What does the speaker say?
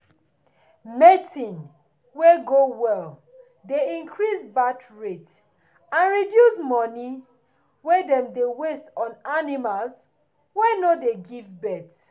mating wey go well dey increase birth rate and reduce money wey em dey waste on animals wey no dey give birth.